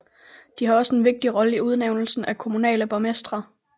De har også en vigtig rolle i udnævnelsen af kommunale borgmestre